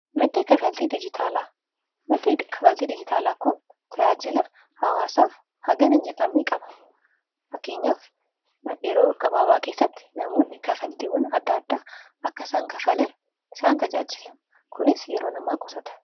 maddi kafaltii diijitaalaa kun tajaajila hawaasaaf hagam hin jedhamee qaba. fakkeenyaaf yeroo gabaabaa keessatti namoonni kafaltiiwwan adda addaa akka isaan kafalan isaan tajaajila kunis yeroo namaa qusata.